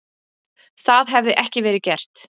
Það hefði ekki verið gert